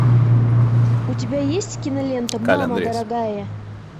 у тебя есть кинолента мама дорогая